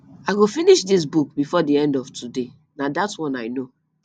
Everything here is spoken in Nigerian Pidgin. i go finish dis book before the end of today na dat one i know